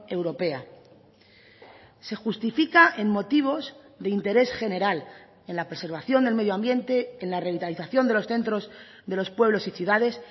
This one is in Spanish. europea se justifica en motivos de interés general en la preservación del medio ambiente en la revitalización de los centros de los pueblos y ciudades